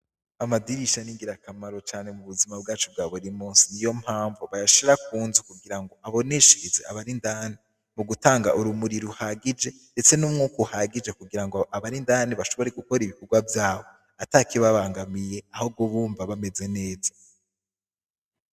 Amadirisha ni ngirakamaro cane mu buzima bwacu bwa buri musi niyo mpamvu bayashira ku nzu kugira ngo aboneshereze abari indani mu gutanga urumuri ruhagije ndetse n'umwuka uhagije kugira ngo abari indani bashobore gukora ibikorwa vyabo ata kibabangamiye ahubwo bumva bameze neza.